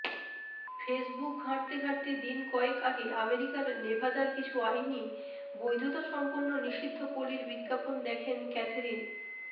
Facebook ঘাঁটতে ঘাঁটতে দিন কয়েক আগে আমেরিকার নেভাদার কিছু আইনি বৈধতাসম্পন্ন নিষিদ্ধপল্লির বিজ্ঞাপন দেখেন ক্যাথেরিন